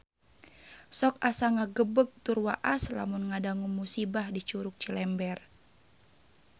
Sok asa ngagebeg tur waas lamun ngadangu musibah di Curug Cilember